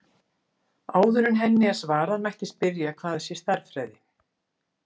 Áður en henni er svarað mætti spyrja hvað sé stærðfræði.